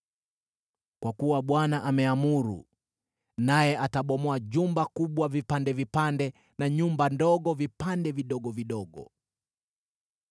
Kwa kuwa Bwana ameamuru, naye atabomoa jumba kubwa vipande vipande na nyumba ndogo vipande vidogo vidogo.